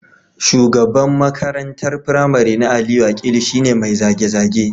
Shugaban makarantar firamare na Aliyu Akilu shi ne mai zage-zage